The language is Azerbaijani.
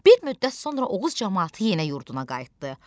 Bir müddət sonra Oğuz camaatı yenə yurduna qayıtdı.